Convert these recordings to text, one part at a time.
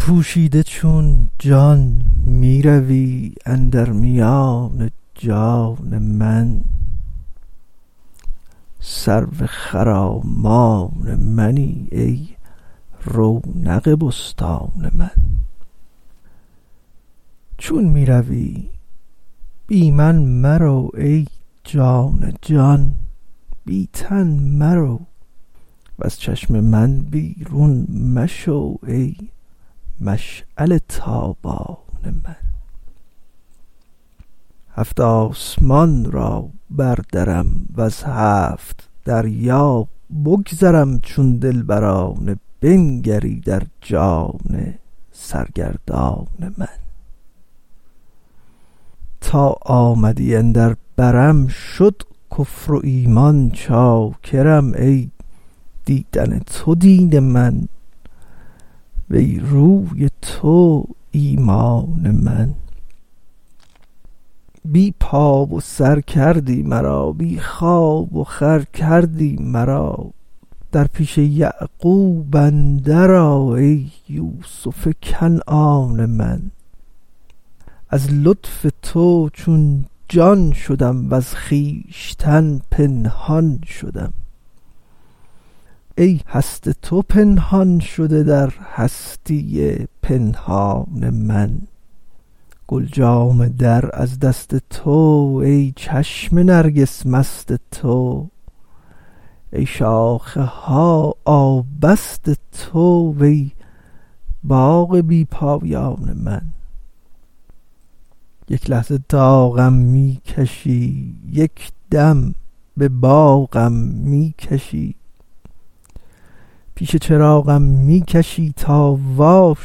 پوشیده چون جان می روی اندر میان جان من سرو خرامان منی ای رونق بستان من چون می روی بی من مرو ای جان جان بی تن مرو وز چشم من بیرون مشو ای مشعله ی تابان من هفت آسمان را بردرم وز هفت دریا بگذرم چون دلبرانه بنگری در جان سرگردان من تا آمدی اندر برم شد کفر و ایمان چاکرم ای دیدن تو دین من وی روی تو ایمان من بی پا و سر کردی مرا بی خواب و خور کردی مرا در پیش یعقوب اندر آ ای یوسف کنعان من از لطف تو چون جان شدم وز خویش تن پنهان شدم ای هست تو پنهان شده در هستی پنهان من گل جامه در از دست تو وی چشم نرگس مست تو ای شاخه ها آبست تو وی باغ بی پایان من یک لحظه داغم می کشی یک دم به باغم می کشی پیش چراغم می کشی تا وا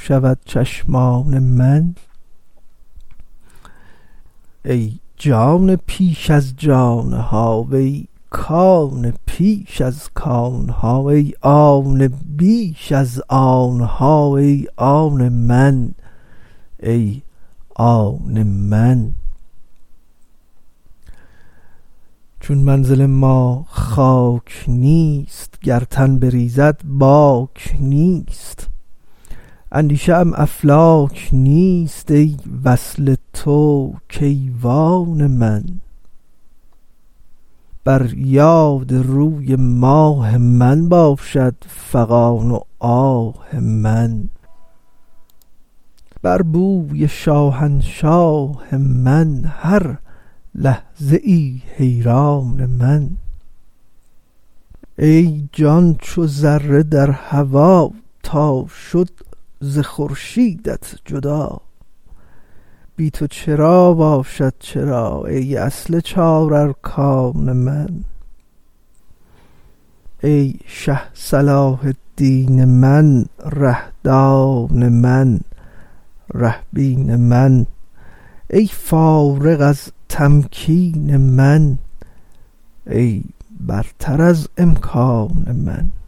شود چشمان من ای جان پیش از جان ها وی کان پیش از کان ها ای آن بیش از آن ها ای آن من ای آن من چون منزل ما خاک نیست گر تن بریزد باک نیست اندیشه ام افلاک نیست ای وصل تو کیوان من بر یاد روی ماه من باشد فغان و آه من بر بوی شاهنشاه من هر لحظه ای حیران من ای جان چو ذره در هوا تا شد ز خورشیدت جدا بی تو چرا باشد چرا ای اصل چارارکان من ای شه صلاح الدین من ره دان من ره بین من ای فارغ از تمکین من ای برتر از امکان من